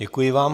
Děkuji vám.